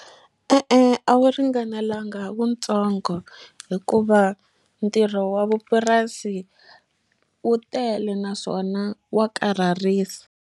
E-e a wu ringanelanga wutsongo hikuva ntirho wa vupurasi wu tele naswona wa karhalisa.